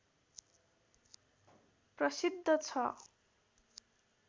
प्रसिद्ध छ